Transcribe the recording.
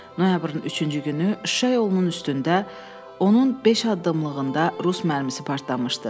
Noyabrın üçüncü günü Şuşa yolunun üstündə, onun beş addımlığında rus mərmisi partlamışdı.